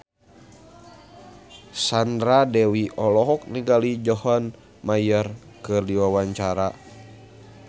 Sandra Dewi olohok ningali John Mayer keur diwawancara